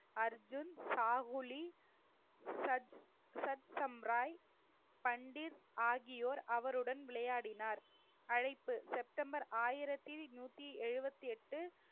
அர்ஜுன் சாகுலி சத்~ சத்சம்பராய் பண்டிட் ஆகியோர் அவருடன் விளையாடினார் அழைப்பு செப்டம்பர் ஆயிரத்தி நூத்தி எழுபத்தி எட்டு